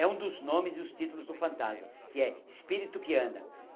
É um dos nomes e os títulos do fantasma, que é Espírito que Anda.